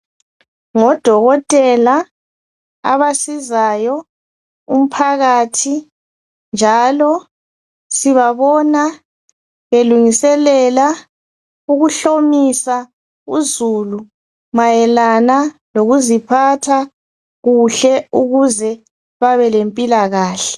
Ngodokotela abasizayo umphakathi njalo sibabona belungiselela uzulu mayelana lokuziphatha kuhle ukuze babelempilakahle.